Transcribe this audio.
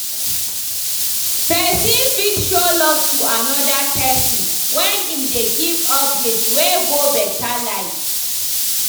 Persin fit show love to another person when im de give updates wey go better life